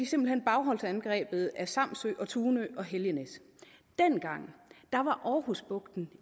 simpelt hen bagholdsangrebet af samsø og tunø og helgenæs dengang var aarhusbugten